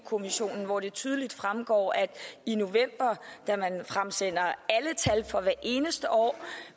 kommissionen hvor det tydeligt fremgår at i november da man fremsender alle tal for hvert eneste år